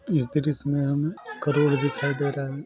इस दृश्य में हमे क्राउड दिखाई दे रहा है।